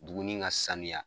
Buguni ka saniya